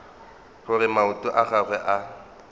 gore maoto a gagwe a